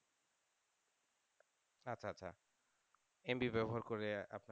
MB ব্যাবহার করে আপনারা